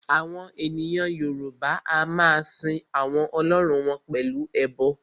Àwọn ènìyàn Yorùbá a máa sin àwọn Ọlọ́run wọn pẹ̀lú ẹbọ